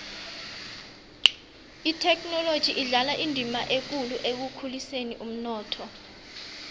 ithekhinoloji idlala indima ekulu ekukhuliseni umnotho